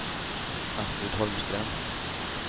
Astrid Holmström